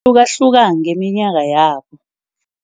Kuhlukahluka ngeminyaka yabo.